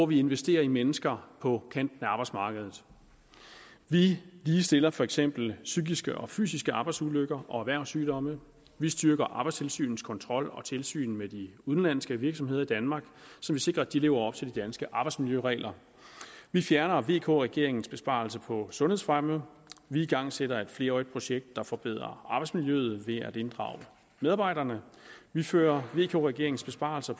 vi investerer i mennesker på kanten af arbejdsmarkedet vi ligestiller for eksempel psykiske og fysiske arbejdsulykker og erhvervssygdomme vi styrker arbejdstilsynets kontrol og tilsyn med de udenlandske virksomheder i danmark så vi sikrer at de lever op til de danske arbejdsmiljøregler vi fjerner vk regeringens besparelser på sundhedsfremme vi igangsætter et flerårigt projekt der forbedrer arbejdsmiljøet ved at inddrage medarbejderne vi fører vk regeringens besparelser